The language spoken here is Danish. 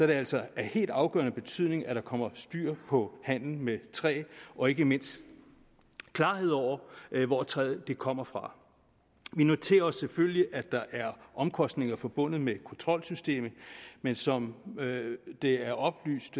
det altså af helt afgørende betydning at der kommer styr på handlen med træ og ikke mindst klarhed over hvor træet kommer fra vi noterer os selvfølgelig at der er omkostninger forbundet med kontrolsystemet man som det er oplyst